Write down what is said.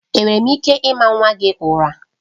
Enwere m ike ịma nwa gị ụra?